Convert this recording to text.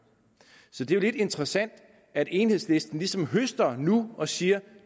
så det er jo lidt interessant at enhedslisten ligesom høster og siger